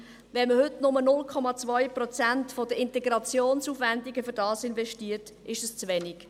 Wenn man heute nur 0,2 Prozent der Integrationsaufwendungen dafür investiert, ist es zu wenig.